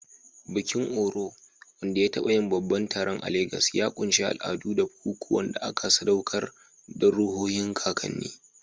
Bikin-orò, wanda ya taɓa yin babban taron a Legas, ya ƙunshi al'adu da bukukuwan da aka sadaukar don ruhohin kakanni.